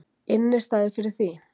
Innistæðu fyrir því!